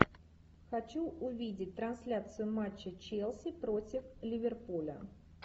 хочу увидеть трансляцию матча челси против ливерпуля